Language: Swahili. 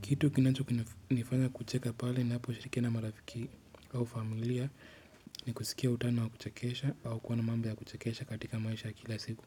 Kitu kinachukini nifanya kucheka pale ni hapo shirikia na marafiki au familia ni kusikia utano wa kuchakesha au kuwa na mambo ya kuchakesha katika maisha kila siku.